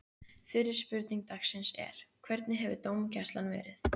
Fyrri spurning dagsins er: Hvernig hefur dómgæslan verið?